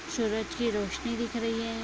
सूरज की रौशनी दिख रही है।